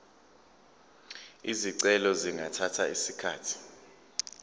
izicelo zingathatha isikhathi